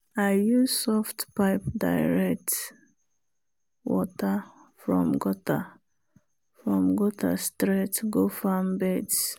i use soft pipe direct water from gutter from gutter straight go farm beds.